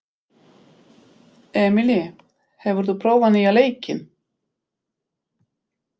Emely, hefur þú prófað nýja leikinn?